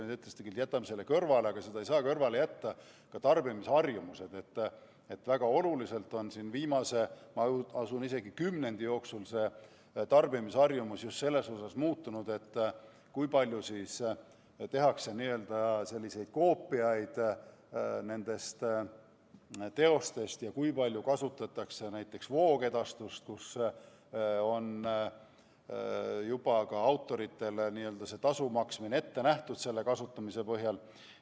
Te ütlesite küll, et jätame need kõrvale, aga neid ei saa kõrvale jätta, sest tarbimisharjumused on väga oluliselt muutunud, ma usun, isegi viimase kümnendi jooksul, just selles mõttes, kui palju tehakse teostest koopiaid ja kui palju kasutatakse näiteks voogedastust, mille puhul on autoritele tasu maksmine juba ette nähtud sellesama kasutamise põhjal.